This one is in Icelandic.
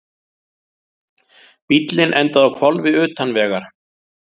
Bíllinn endaði á hvolfi utan vegar